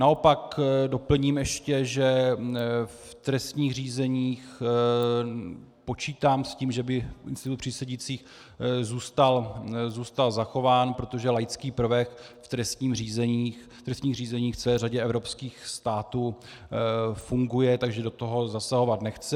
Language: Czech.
Naopak doplním ještě, že v trestních řízeních počítám s tím, že by institut přísedících zůstal zachován, protože laický prvek v trestních řízeních v celé řadě evropských států funguje, takže do toho zasahovat nechci.